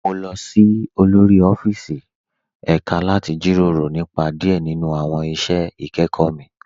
Mo lọ sí òlórí ọ̀fíìsí deṣémitì láti jíró rọ̀ nípa díẹ̀ nínu awọn iṣẹ́ ikẹkọ mi